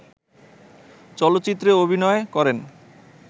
চলচ্চিত্রে অভিনয় করেন